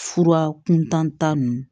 Fura kuntan ta ninnu